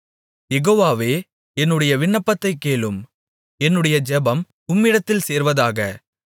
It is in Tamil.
யெகோவாவே என்னுடைய விண்ணப்பத்தைக் கேளும் என்னுடைய ஜெபம் உம்மிடத்தில் சேர்வதாக